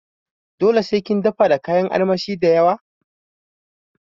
Dole sai kin dafa da kayan armashi dayawa?